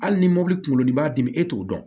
Hali ni mɔbili kun kunkolo b'a dimi e t'o dɔn